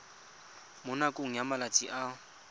mo nakong ya malatsi a